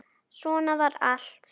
Svona var allt.